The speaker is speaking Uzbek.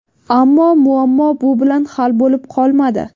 Ammo muammo bu bilan hal bo‘lib qolmadi.